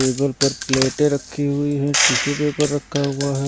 Table पर प्लेटें रखी हुई हैं टिशू पेपर रखा हुआ है।